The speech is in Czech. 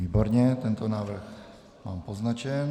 Výborně, tento návrh mám poznačen.